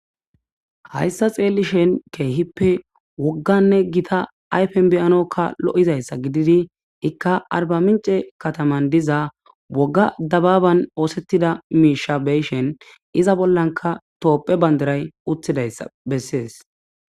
Hayssa xeelli shen keehippe wogganne gita ayfen beyanokka lo7izayssa gididi ikka arba mince kataman diza wogga dababan oosettida miishabeyshen iza bollanka toopphe bandaray uttidaysa bessees